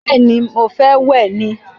Bẹ́ẹ̀ni, mo fẹ́ wẹ̀ ni